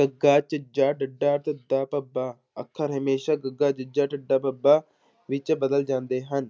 ਗੱਗਾ, ਝੱਝਾ, ਡੱਡਾ, ਧੱਦਾ, ਭੱਬਾ ਅੱਖਰ ਹਮੇਸ਼ਾ ਗੱਗਾ, ਜੱਜਾ, ਢੱਡਾ, ਬੱਬਾ ਵਿੱਚ ਬਦਲ ਜਾਂਦੇ ਹਨ